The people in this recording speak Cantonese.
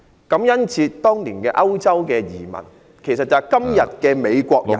感恩節是當年歐洲移民，其實就是今天的美國人......